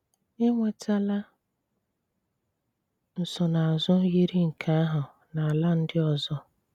Ènwètàlà nsònáàzù yiri nke àhụ̀ na àlà̀ ndị̀ ọ̀zò.